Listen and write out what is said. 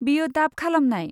बेयो डाब खालामनाय।